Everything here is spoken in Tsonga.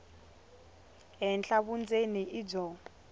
henhla vundzeni i byo